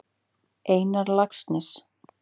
Einar Laxness.